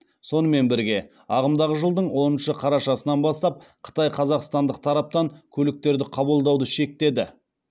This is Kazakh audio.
сонымен бірге ағымдағы жылдың оныншы қарашасынан бастап қытай қазақстандық тараптан көліктерді қабылдауды шектеді